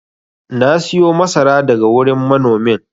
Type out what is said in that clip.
na siyo masara daga wurin manomin